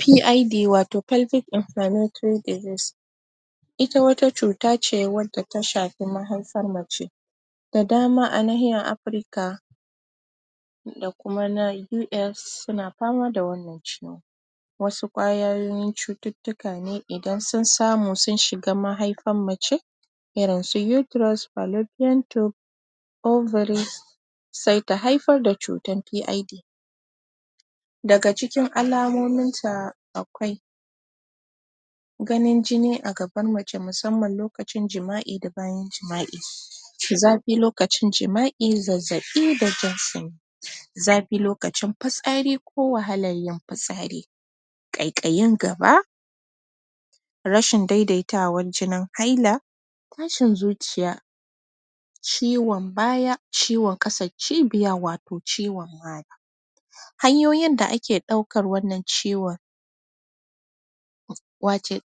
PID wato pelvic inflammatory disease ita wata cuta ce wadda ta shafi mahaifar mace. Da dama a nahiyar Afirka da kuma na US suna dama da wannan ciwon. Wasu ƙwayoyin cututtuka ne idan sun samu sun shiga mahaifan mace irin su uterus, filopian tube, ovary, sai ta haifar da cutan PID. Daga cikin alamominta akwai ganin jini a gaban mace musamman lokacin jima'i da bayan jima'i zafi lokacin jima'i. Zazzaɓi da jin zafi lokacin fitsari ko wahalar yin fitsari, ƙaiƙayin gaba rashin daidaitawan jinin haila, tashin zuciya, ciwon baya, ciwon ƙasan cibiya, wato ciwon mara Hanyoyin da ake ɗaukan wannan ciwon,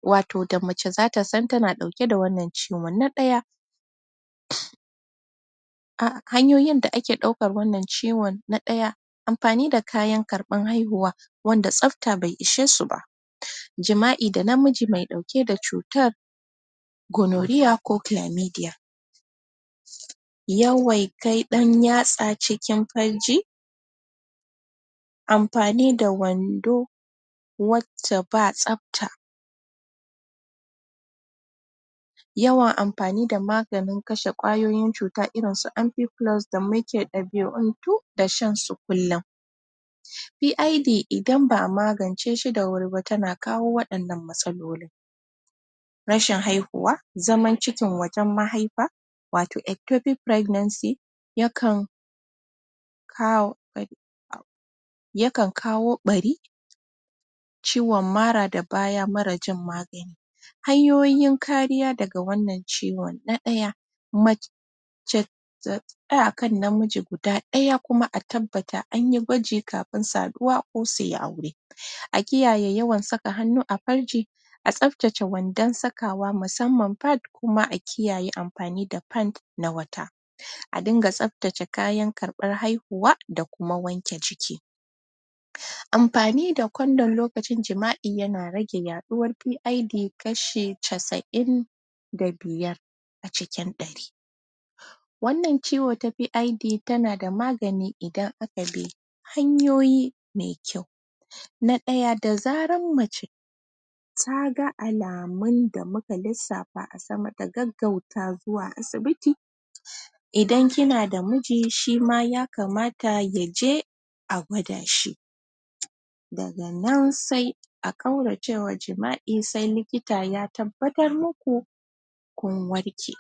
wato da mace za ta san tana ɗauke da wannan ciwon. Na ɗaya: Hanyoyin da ake ɗaukar wannan ciwon. Na ɗaya: Amfani da kayan karɓar haihuwa wanda tsafta bai ishe su ba. Jima'i da namiji mai ɗauke da cutar. gonoriya ko filamediya. yawan kai ɗan tsaya cikin farji. Amfani da wando wacce ba tsafta. Yawan amfanin da maganin kashe ƙwayoyin cuta irin su amfikulos da muka ɗabi'untu da shan su kullum. PID idan ba a magance shi da wuri ba tana kawo wannan matsalolin. Rashin haihuwa, zaman cikin wajen mahaifa, wato eptopic pregnancy, yakan kawo yakan kawo ɓari, ciwon mara da baya marar jin magani. Hanyoyin kariya daga wannan ciwon. Na ɗaya: Mace ta tsaya a kan namiji guda ɗaya kuma a tabbata an yi gwaji kafin saduwa ko su yi aure. A kiyaye yawan saka hannu a farji. A tsaftace wandon sakawa musamman fat kuma a kiyaye amfani da fat na wata. A dinga tsaftace kayan karɓar haihuwa da kuma wanke jiki. Amfani da kondom lokacin jima'i yana rage yaɗuwar PID kashi casa'in da biyar a cikin ɗari. Wannan ciwo ta PID tana da magani idan aka bi hanyoyi mai kyau. Na ɗaya, da zarar mace ta ga alamun da muka lissafa a sama, ta gaggauta zuwa asibiti idan kina da miji shi ma ya kamata ya je a gwada shi. Daga nan sai a ƙaurace wa jima'i sai likita ya tabbatar muku kun warke.